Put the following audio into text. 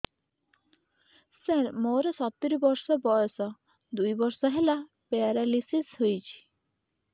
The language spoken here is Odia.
ସାର ମୋର ସତୂରୀ ବର୍ଷ ବୟସ ଦୁଇ ବର୍ଷ ହେଲା ପେରାଲିଶିଶ ହେଇଚି